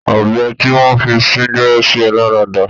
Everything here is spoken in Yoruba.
Ọ̀bẹ tí wọ́n fi sín gbẹ́rẹ́ sí ẹ lára dà?